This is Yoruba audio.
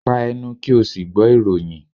pa ẹnu! ki o si gbọ awọn iroyin